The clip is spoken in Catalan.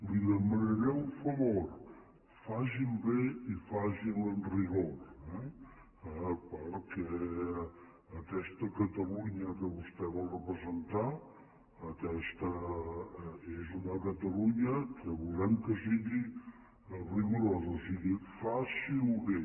li demanaré un favor faci’l bé i faci’l amb rigor eh perquè aquesta catalunya que vostè vol representar aquesta és una catalunya que volem que sigui rigorosa o sigui faci ho bé